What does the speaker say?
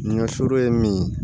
N ka so ye min ye